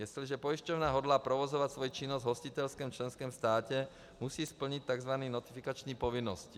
Jestliže pojišťovna hodlá provozovat svoji činnost v hostitelském členském státě, musí splnit tzv. notifikační povinnosti.